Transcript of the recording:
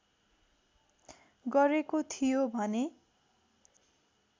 गरेको थियो भने